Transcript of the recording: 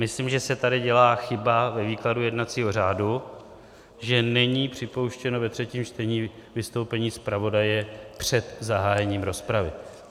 Myslím, že se tady dělá chyba ve výkladu jednacího řádu, že není připouštěno ve třetím čtení vystoupení zpravodaje před zahájením rozpravy.